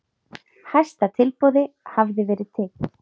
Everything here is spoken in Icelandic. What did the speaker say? Hæsta tilboði hafi verið tekið.